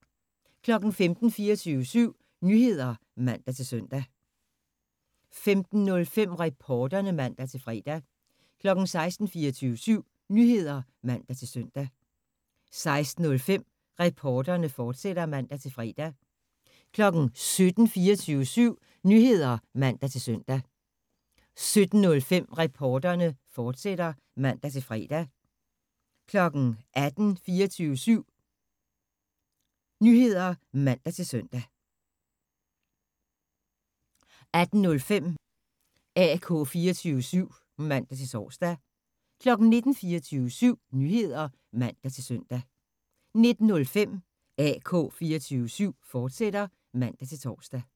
15:00: 24syv Nyheder (man-søn) 15:05: Reporterne (man-fre) 16:00: 24syv Nyheder (man-søn) 16:05: Reporterne, fortsat (man-fre) 17:00: 24syv Nyheder (man-søn) 17:05: Reporterne, fortsat (man-fre) 18:00: 24syv Nyheder (man-søn) 18:05: AK 24syv (man-tor) 19:00: 24syv Nyheder (man-søn) 19:05: AK 24syv, fortsat (man-tor)